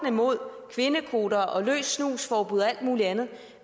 mod kvindekvoter og løs snus forbud og alt muligt andet